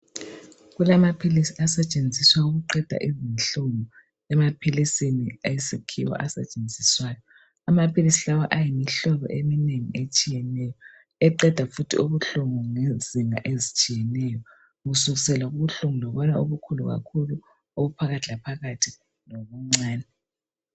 Kulamaphilisi asetshenziswa ukuqeda izinhlungu, emaphilisini awesiKhiwa asetshenziswayo. Amaphilisi lawa ayimihlobo eminengi etshiyeneyo eqeda futhi ubuhlungu ngezinga ezitshiyeneyo kusukisela kubuhlungu lobana obukhulu kakhulu, obuphakathi laphakakthi, lobuncane.